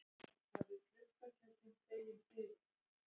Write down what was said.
Hafið gluggatjöldin dregin fyrir.